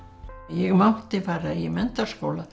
ég mátti fara í menntaskóla